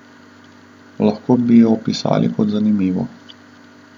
Lahko bi jo opisali kot zanimivo.